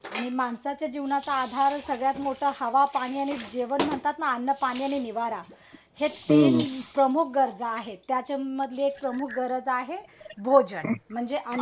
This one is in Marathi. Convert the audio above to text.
माणसाच्या जीवनाचा आधार सगळ्यात मोठा हवा पाणी आणि जेवण म्हणतात ना अन्न पाणी आणि निवारा हेच तीन प्रमुख गरजा आहे त्याचातली मधली एक प्रमुख गरज आहे भोजन म्हणजे अन्न